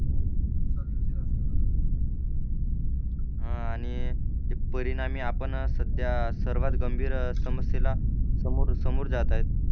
हा आणि हे परिणामी आपण सध्या सर्वात गंभीर समस्येला समोर समोर जात आहेत.